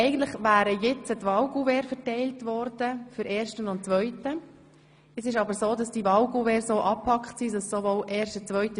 Eigentlich wären nun die Wahlkuverts für die Wahl zum ersten und zweiten Grossratsvizepräsidenten verteilt worden.